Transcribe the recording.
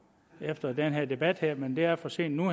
efter den her debat men det er for sent nu